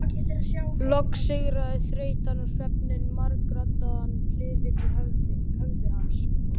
Loks sigraði þreytan og svefninn margraddaðan kliðinn í höfði hans.